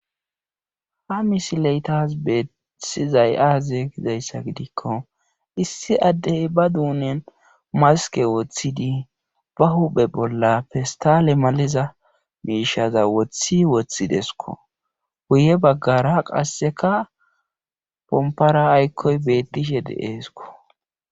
Ha misileytas beettisizay aaze kizayssa gidikko issi addey ba duunen maske woththidii ba huphe bolla festale maleza miishaza wothi woththidesko guye baggara qasseka pompara aykkoy beettishe deeesko